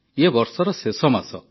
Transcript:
ଇଏ ବର୍ଷର ଶେଷ ମାସ